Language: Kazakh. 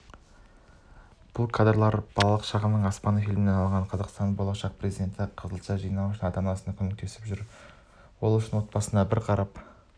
бұл кадрлар балалық шағымның аспаны фильмінен алынған қазақстанның болашақ президенті қызылша жинау үшін ата-анасына көмектесіп жүр ол үшін отбасына бір қап